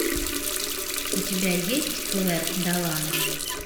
у тебя есть клэр долан